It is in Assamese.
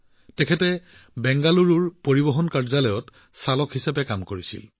ধনপাল জীয়ে আগতে বাংগালুৰুৰ পৰিবহণ কাৰ্যালয়ত চালক হিচাপে কাম কৰিছিল